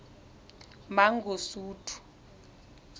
mangosuthu